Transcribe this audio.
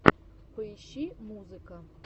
поищи музыка